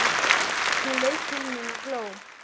Hún leit til mín og hló.